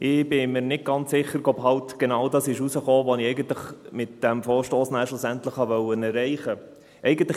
Ich bin mir nicht ganz sicher, ob genau das herauskam, was ich mit diesem Vorstoss schlussendlich erreichen wollte.